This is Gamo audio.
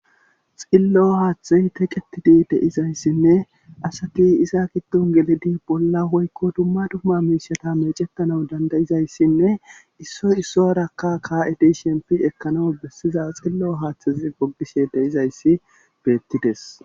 Xillo haaththe teqetidi deizayssinne asati iza giddon geledi bolla woykko dumma dumma miishatat meecettana dandayizayssinne issoy issoyarakka kaa'edi sheempi ekkanaw bessiza xillo haaththezi goggishshe de'izayssi beettidees